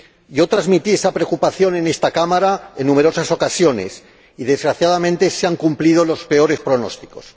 Yo transmití esa preocupación en esta Cámara en numerosas ocasiones y, desgraciadamente, se han cumplido los peores pronósticos.